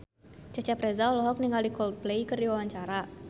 Cecep Reza olohok ningali Coldplay keur diwawancara